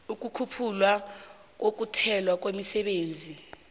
ukukhuphula ukulethwa kwemisebenzi